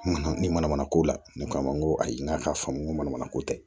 Mana ni manamana ko la ne ko a ma n ko ayi n k'a ka faamu ko manamana ko tɛ